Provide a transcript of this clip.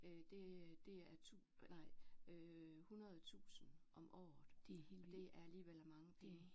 Øh det det er nej øh hundrede tusind om året og det er alligevel mange penge